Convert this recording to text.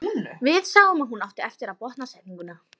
Við sáum að hún átti eftir að botna setninguna.